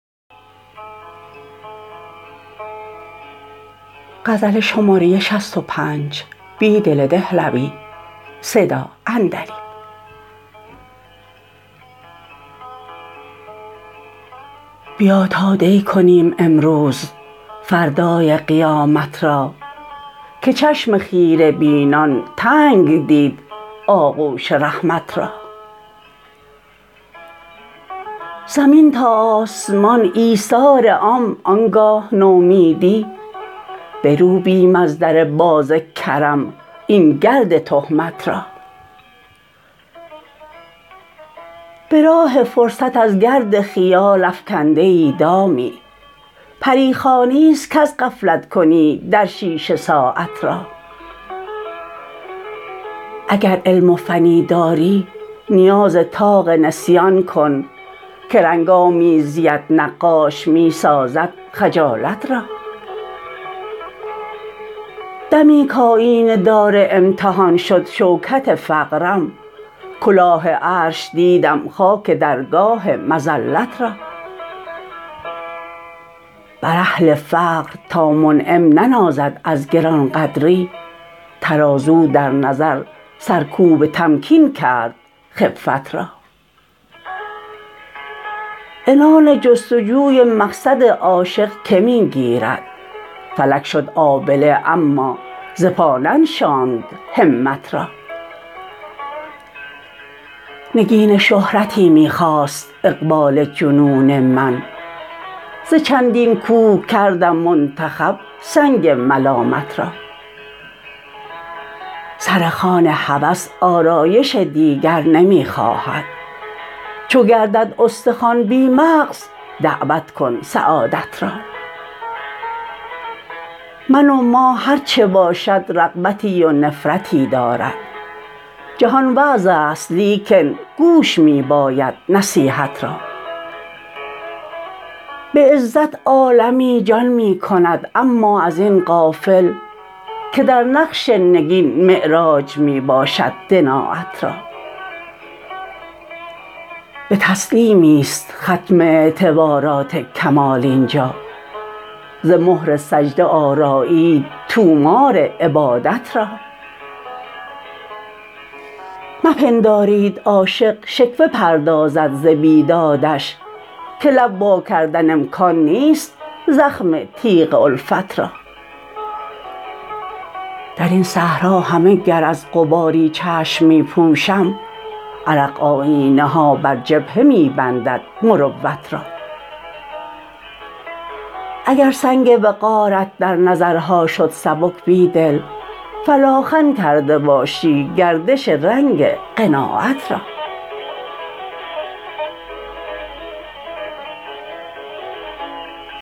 بیا تا دی کنیم امروز فردای قیامت را که چشم خیره بینان تنگ دید آغوش رحمت را زمین تا آسمان ایثار عام آنگاه نومیدی بروبیم از در بازکرم این گرد تهمت را به راه فرصت ازگرد خیال افکنده ای دامی پریخوانی است کزغفلت کنی درشیشه ساعت را اگر علم و فنی داری نیاز طاق نسیان کن که رنگ آمیزی ات نقاش می سازد خجالت را دمی کایینه دار امتحان شد شوکت فقرم کلاه عرش دیدم خاک درگاه مذلت را بر اهل فقر تا منعم ننازد ازگرانقدری ترازو در نظر سرکوب تمکین کرد خفت را عنان جستجوی مقصد عاشق که می گیرد فلک شد آبله اما زپا ننشاند همت را نگین شهرتی می خواست اقبال جنون من ز چندین کوه کردم منتخب سنگ ملامت را سر خوان هوس آرایش دیگر نمی خواهد چو گردد استخوان بی مغز دعوت کن سعادت را من و ما هرچه باشد رغبتی ونفرتی دارد جهان وعظ است لیکن گوش می باید نصیحت را به عزت عالمی جان می کند اما ازین غافل که در نقش نگین معراج می باشد دنایت را به تسلیمی است ختم اعتبارات کمال اینجا ز مهر سجده آرایید طومار عبادت را مپندارید عاشق شکوه پردازد ز بیدادش که لب واکردن امکان نیست زخم تیغ الفت را درین صحرا همه گر از غباری چشم می پوشم عرق آیینه ها بر جبهه می بندد مروت را اگر سنگ وقارت در نظرها شد سبک بیدل فلاخن کرده باشی گردش رنگ قناعت را